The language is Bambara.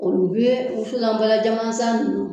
Olu bɛ wusulanbalan jaman san ninnu